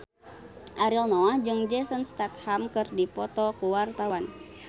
Ariel Noah jeung Jason Statham keur dipoto ku wartawan